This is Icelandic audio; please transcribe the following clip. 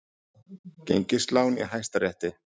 Gengislán í Hæstarétti